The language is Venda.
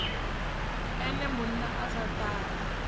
ene munna a sa ṱali